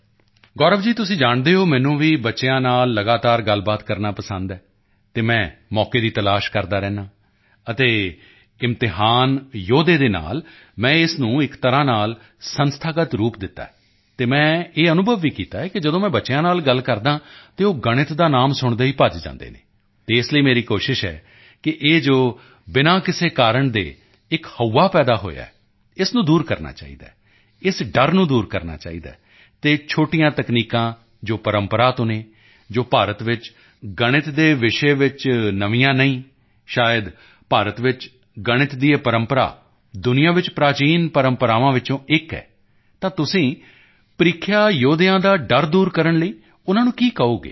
ਗੌਰਵ ਜੀ ਤੁਸੀਂ ਜਾਣਦੇ ਹੋ ਮੈਨੂੰ ਵੀ ਬੱਚਿਆਂ ਨਾਲ ਲਗਾਤਾਰ ਗੱਲਬਾਤ ਕਰਨਾ ਪਸੰਦ ਹੈ ਅਤੇ ਮੈਂ ਮੌਕੇ ਦੀ ਤਲਾਸ਼ ਕਰਦਾ ਰਹਿੰਦਾ ਹਾਂ ਅਤੇ ਇਗਜ਼ਾਮ ਵਾਰੀਅਰਸ ਦੇ ਨਾਲ ਮੈਂ ਇਸ ਨੂੰ ਇੱਕ ਤਰ੍ਹਾਂ ਨਾਲ ਸੰਸਥਾਗਤ ਰੂਪ ਦਿੱਤਾ ਹੈ ਅਤੇ ਮੈਂ ਇਹ ਅਨੁਭਵ ਵੀ ਕੀਤਾ ਹੈ ਕਿ ਜਦੋਂ ਬੱਚਿਆਂ ਨਾਲ ਗੱਲ ਕਰਦਾ ਹਾਂ ਤਾਂ ਉਹ ਗਣਿਤ ਦਾ ਨਾਮ ਸੁਣਦੇ ਹੀ ਭੱਜ ਜਾਂਦੇ ਹਨ ਅਤੇ ਇਸ ਲਈ ਮੇਰੀ ਕੋਸ਼ਿਸ਼ ਹੈ ਕਿ ਇਹ ਜੋ ਬਿਨਾਂ ਕਿਸੇ ਕਾਰਨ ਦੇ ਇੱਕ ਹਊਆ ਪੈਦਾ ਹੋਇਆ ਹੈ ਇਸ ਨੂੰ ਦੂਰ ਕਰਨਾ ਚਾਹੀਦਾ ਹੈ ਇਸ ਡਰ ਨੂੰ ਦੂਰ ਕਰਨਾ ਚਾਹੀਦਾ ਹੈ ਅਤੇ ਛੋਟੀਆਂ ਤਕਨੀਕਾਂ ਜੋ ਪਰੰਪਰਾ ਤੋਂ ਹਨ ਜੋ ਭਾਰਤ ਵਿੱਚ ਗਣਿਤ ਦੇ ਵਿਸ਼ੇ ਨਵੀਆਂ ਨਹੀਂ ਹਨ ਸ਼ਾਇਦ ਭਾਰਤ ਵਿੱਚ ਗਣਿਤ ਦੀ ਇਹ ਪਰੰਪਰਾ ਦੁਨੀਆ ਵਿੱਚ ਪ੍ਰਾਚੀਨ ਪਰੰਪਰਾਵਾਂ ਵਿੱਚੋਂ ਇੱਕ ਹੈ ਤਾਂ ਤੁਸੀਂ ਪਰੀਖਿਆ ਜੋਧਿਆਂ ਦਾ ਡਰ ਦੂਰ ਕਰਨ ਲਈ ਉਨ੍ਹਾਂ ਨੂੰ ਕੀ ਕਹੋਗੇ